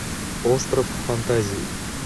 остров фантазии